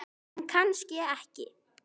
En kannski ekki.